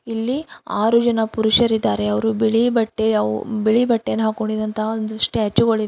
ಇಲ್ಲಿ ಆರು ಜನ ಪುರುಷರಿದ್ದಾರೆ ಅವರು ಬಿಳಿ ಬಟ್ಟೆ ಅವು ಬಿಳಿ ಬಟ್ಟೆ ಹಾಕ್ಕೊಂಡಿರೋ ಅಂತ ಸ್ಟ್ಯಾಚು ಗಳಿವೆ ಅದೆ --